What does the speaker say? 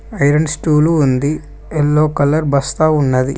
Iron stool ఉంది yellow colour బస్తా ఉన్నది.